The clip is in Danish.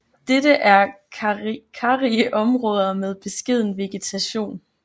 Dette er karrige områder med beskeden vegetation